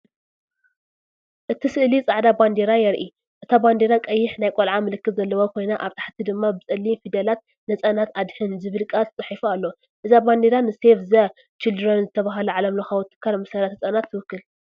እቲ ስእሊ ጻዕዳ ባንዴራ የርኢ። እታ ባንዴራ ቀይሕ ናይ ቆልዓ ምልክት ዘለዋ ኮይና ኣብ ታሕቲ ድማ ብጸሊም ፊደላት "ንህጻናት ኣድሕን" ዝብል ቃል ተጻሒፉ ኣሎ። እዛ ባንዴራ ንሴቭ ዘ ቺልድረን ዝተባህለ ዓለምለኻዊ ትካል መሰላት ህጻናት ትውክል።